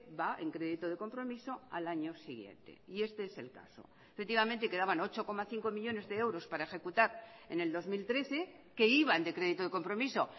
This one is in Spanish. va en crédito de compromiso al año siguiente y este es el caso efectivamente quedaban ocho coma cinco millónes de euros para ejecutar en el dos mil trece que iban de crédito de compromiso